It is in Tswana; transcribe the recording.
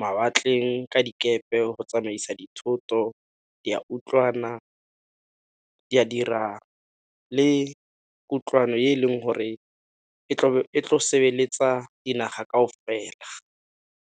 mawatleng ka dikepe go tsamaisa dithoto, di a utlwana di a dira le kutlwano e leng gore e tlo sebeletsa dinaga kao fela.